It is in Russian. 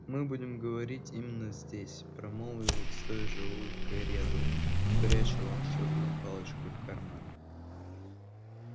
мы будем говорить именно здесь промолвил с той же улыбкой реддл пряча волшебную палочку в карман